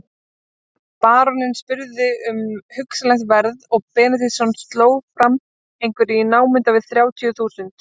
Baróninn spurði um hugsanlegt verð og Benediktsson sló fram einhverju í námunda við þrjátíu þúsund.